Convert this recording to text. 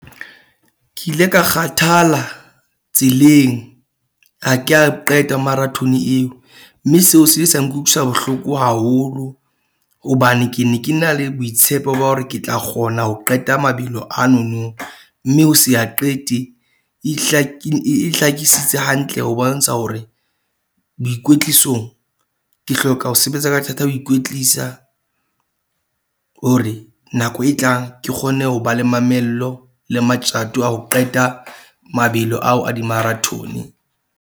Ke ile ka kgathala tseleng ha ke a qeta marathon-e eo mme seo se ile sa nkutlwisa bohloko haholo. Hobane ke ne ke na le boitshepo ba hore ke tla kgona ho qeta mabelo ano no. Mme ho se a qete e e hlakisitse hantle ho bontsha hore boikwetlisong ke hloka ho sebetsa ka thata, ho ikwetlisa, hore nako e tlang ke kgone ho ba le mamello le matjato a ho qeta mabelo ao a di-marathon-e.